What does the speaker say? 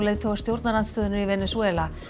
leiðtoga stjórnarandstöðunnar í Venesúela